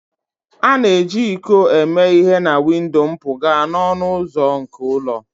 A na-eji iko eme ihe na windo mpụga na ọnụ ụzọ nke ụlọ